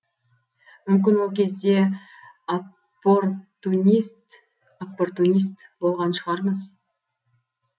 мүмкін ол кезде оппортунист болған шығармыз